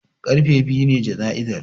Karfe biyu ne jana'izar